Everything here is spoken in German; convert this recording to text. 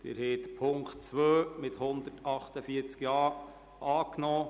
Sie haben Punkt 2 der Motion mit 148 Ja-Stimmen angenommen.